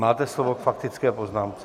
Máte slovo k faktické poznámce.